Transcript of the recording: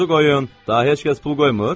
Daha heç kəs pul qoymur?